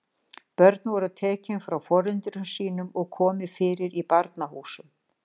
Börn voru tekin frá foreldrum sínum og komið fyrir í barnahúsum.